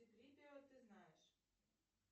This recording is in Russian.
ты знаешь